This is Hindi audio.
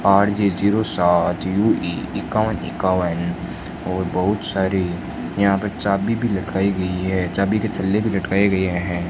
आर_जे जीरो सात जीरो एक इक्कावन इक्कावन और बहुत सारी यहां पर चाबी भी लटकी गई है चाबी के छल्ले भी लटकाए गए हैं।